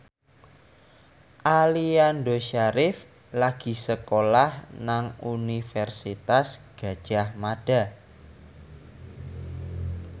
Aliando Syarif lagi sekolah nang Universitas Gadjah Mada